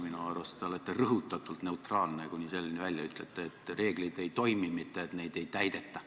Minu arust olete te rõhutatult neutraalne, kuni selleni välja, et ütlete, et reeglid ei toimi, mitte et neid ei täideta.